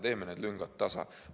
Teeme need lüngad siis tasa!